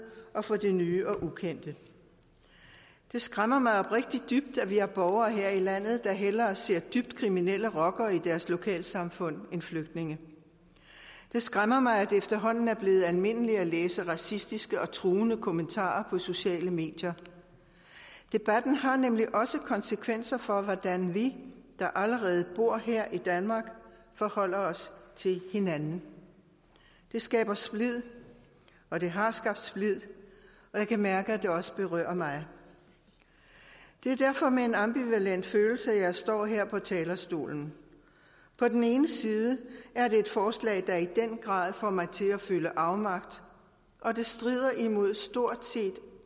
og for det nye og ukendte det skræmmer mig oprigtigt dybt at vi har borgere her i landet der hellere ser dybt kriminelle rockere i deres lokalsamfund end flygtninge der skræmmer mig at det efterhånden er blevet almindeligt at læse racistiske og truende kommentarer på sociale medier debatten har nemlig også konsekvenser for hvordan vi der allerede bor her i danmark forholder os til hinanden det skaber splid og det har skabt splid og jeg kan mærke at det også berører mig det er derfor med en ambivalent følelse at jeg står her på talerstolen på den ene side er det et forslag der i den grad får mig til at føle afmagt og det strider imod stort set